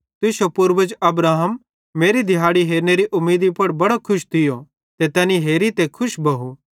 तुश्शो पूर्वज अब्राहम मेरी दिहाड़ी हेरनेरे उमीदी पुड़ बड़ी खुश थियो ते तैनी हेरी ते खुश भोव